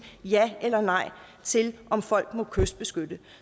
ja eller nej til om folk må kystbeskytte